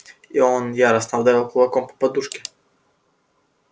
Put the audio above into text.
и он яростно ударил кулаком по подушке